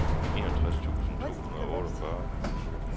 enogtres tusind to hundrede og otteogfyrre